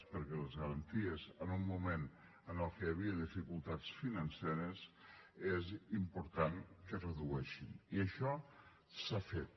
perquè les garanties en un moment en què hi havia dificultats financeres és important que es redueixin i això s’ha fet